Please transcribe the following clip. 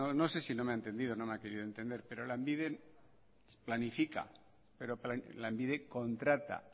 no sé si no me ha entendido o no me ha querido entender pero lanbide planifica pero lanbide contrata